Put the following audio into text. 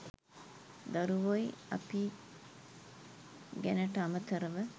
දරුවොයි අපියි ගැනට අමතරව